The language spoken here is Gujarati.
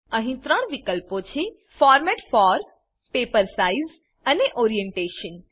અહી ત્રણ વિકલ્પો છે ફોર્મેટ ફોર પેપર સાઇઝ અને ઓરિએન્ટેશન